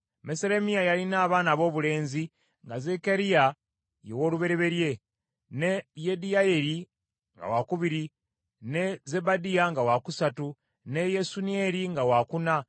Meseremiya yalina abaana aboobulenzi nga Zekkaliya ye w’olubereberye, ne Yediyayeri nga wakubiri, ne Zebadiya nga wakusatu, ne Yasuniyeri nga wakuna,